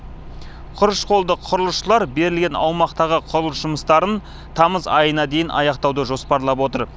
құрыш қолды құрылысшылар берілген аумақтағы құрылыс жұмыстарын тамыз айына дейін аяқтауды жоспарлап отыр